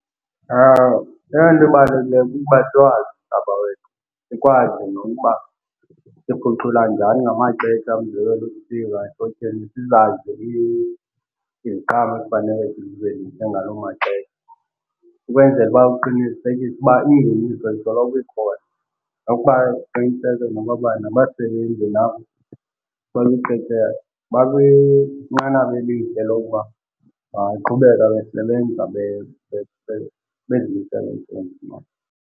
Eyona nto ibalulekileyo kukuba about it. Sikwazi nokuba siphucula njani ngamaxesha, umzekelo ehlotyeni sizazi iziqhamo ezifanele sizithengise ngaloo maxesha ukwenzela uba uqinisekise ukuba ingeniso isoloko ikhona. Nokuba uqinisekeni nokokuba nabasebenzi nabo bakwinqanaba elihle lokuba bangaqhubeka besebenza bezimisele emsebenzini wabo.